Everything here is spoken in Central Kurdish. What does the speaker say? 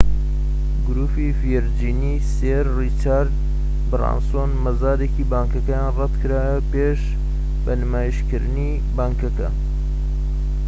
گروپی ڤێرجینی سێر ڕیچارد برانسۆن مەزادێکی بانکەکەیان ڕەتکرایەوە پێش بە نیشتیمانیکردنی بانکەکە